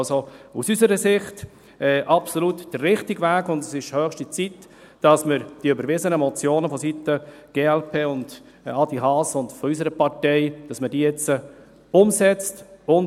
Also: Aus unserer Sicht ist dies absolut der richtige Weg, und es ist höchste Zeit, dass wir die überwiesenen Motionen vonseiten der glp , von Adrian Haas und von unserer Partei jetzt umsetzen.